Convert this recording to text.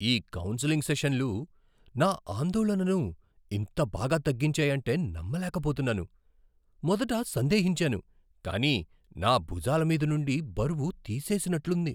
ఈ కౌన్సెలింగ్ సెషన్లు నా ఆందోళనను ఇంత బాగా తగ్గించాయంటే నమ్మలేకపోతున్నాను. మొదట సందేహించాను, కానీ నా భుజాల మీది నుండి బరువు తీసేసినట్లుంది.